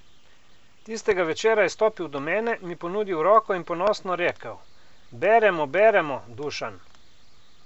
Tistega večera je stopil do mene, mi ponudil roko in ponosno rekel: "Beremo, beremo, Dušan ...